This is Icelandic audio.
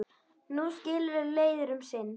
Nú skilur leiðir um sinn.